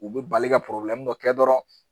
U bɛ bali ka dɔ kɛ dɔrɔn.